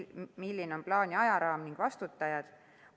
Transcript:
Ja milline on plaani ajaraam ning kes on vastutajad?